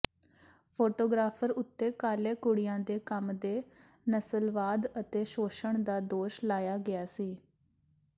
photographer ਉੱਤੇ ਕਾਲੇ ਕੁੜੀਆਂ ਦੇ ਕੰਮ ਦੇ ਨਸਲਵਾਦ ਅਤੇ ਸ਼ੋਸ਼ਣ ਦਾ ਦੋਸ਼ ਲਾਇਆ ਗਿਆ ਸੀ